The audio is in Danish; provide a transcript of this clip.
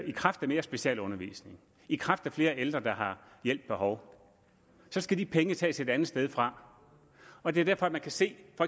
i kraft mere specialundervisning i kraft af flere ældre der har hjælp behov så skal de penge tages et andet sted fra og det er derfor man kan se at